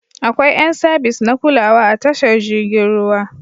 Akwai yan sabis na kulawa a tashar jirgin ruwa.